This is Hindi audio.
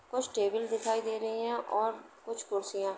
कुछ टेबल दिखाई दे रही हैं और कुछ कुर्सियाँ ।